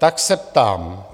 Tak se ptám.